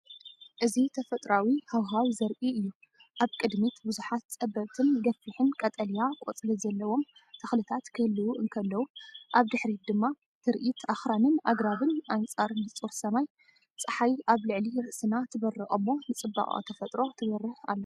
እዚ ተፈጥሮኣዊ ሃዋህው ዘርኢ እዩ። ኣብ ቅድሚት ብዙሓት ጸበብትን ገፊሕን ቀጠልያ ቆጽሊ ዘለዎም ተኽልታት ክህልዉ እንከለዉ፡ ኣብ ድሕሪት ድማ ትርኢት ኣኽራንን ኣግራብን ኣንጻር ንጹር ሰማይ። ጸሓይ ኣብ ልዕሊ ርእስና ትበርቕ እሞ ንጽባቐ ተፈጥሮ ትበርህ ኣላ።